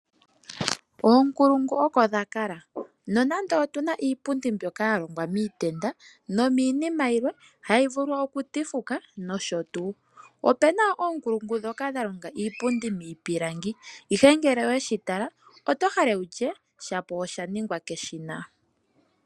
Oonkulungu oko dha kala nonande okuna iipundi mbyoka ya longwa miitenda nomiinima yimwe hayi vulu oku tivuka nosho tuu. Opuna oonkulungu ndhoka dha longa iipundi miipilangi ihe ngele oweshi tala oto hala wutye pamwe osha ningwa keshina.